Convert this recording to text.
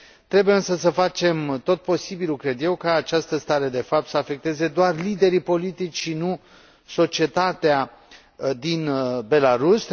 Trebuie însă să facem tot posibilul, cred eu, ca această stare de fapt să afecteze doar liderii politici, și nu societatea din Belarus.